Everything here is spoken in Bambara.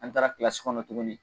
An taara kilasi kɔnɔ tuguni